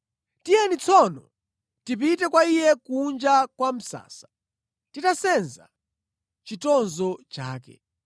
Tiyeni tsono, tipite kwa iye kunja kwa msasa, titasenza chitonzo chake.